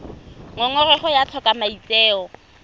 ngongorego ya go tlhoka maitseo